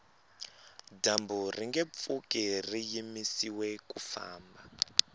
dyambu ringe pfuki ri yimisiwe ku famba